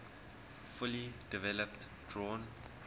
fully developed drawn